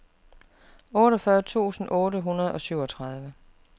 otteogfyrre tusind otte hundrede og syvogtredive